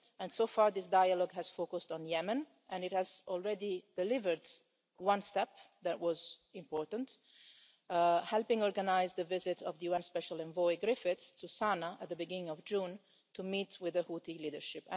UK. So far this dialogue has focused on Yemen and it has already delivered one step that was important helping organise the visit of the UN special envoy Mr Griffiths to Sana'a at the beginning of June, to meet with the Houthi leadership.